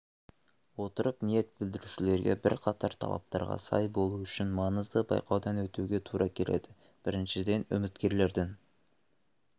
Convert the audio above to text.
отырып ниет білдірушілерге бірқатар талаптарға сай болу үшін маңызды байқаудан өтуге тура келеді біріншіден үміткерлердің